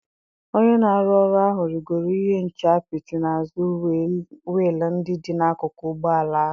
Onye na-arụ ọrụ ahụ rịgoro ihe nche apịtị n'azụ wiil ndị dị n'akụkụ ụgbọ ala ahụ.